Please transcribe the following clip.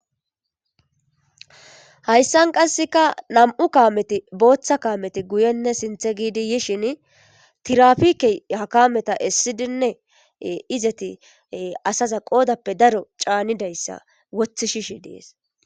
Hayisan qaseka na'mu kameti botha kameti guyene sinithenee gidi yishini tirapeke ha kameta esidine izati asa qodapee daro canidayisa wothishe de'es